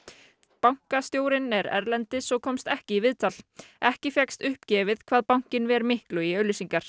bankastjórinn er erlendis og komst ekki í viðtal ekki fékkst uppgefið hvað bankinn ver miklu í auglýsingar